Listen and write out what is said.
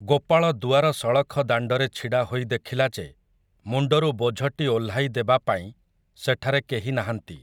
ଗୋପାଳ ଦୁଆର ସଳଖ ଦାଣ୍ଡରେ ଛିଡ଼ା ହୋଇ ଦେଖିଲା ଯେ ମୁଣ୍ଡରୁ ବୋଝଟି ଓହ୍ଲାଇ ଦେବା ପାଇଁ ସେଠାରେ କେହି ନାହାଁନ୍ତି ।